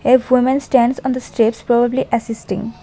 if woman stands on the steps probably assisting.